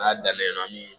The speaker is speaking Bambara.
N'a daminɛ